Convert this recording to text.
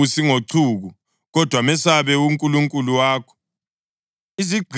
Ungababusi ngochuku, kodwa mesabe uNkulunkulu wakho.